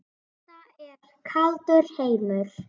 Þetta er kaldur heimur.